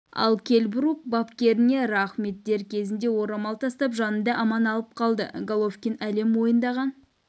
ал келл брук бапкеріме рахмет дер кезінде орамал тастап жанымды аман алып қалды головкин әлем мойындаған